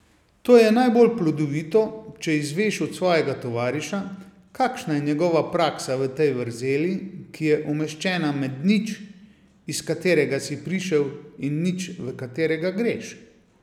To je najbolj plodovito, če izveš od svojega tovariša, kakšna je njegova praksa v tej vrzeli, ki je umeščena med nič, iz katerega si prišel, in nič, v katerega greš.